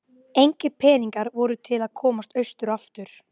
Engir peningar voru til að komast austur aftur.